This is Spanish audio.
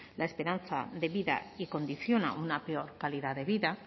la esperanza de vida y condiciona una peor calidad de vida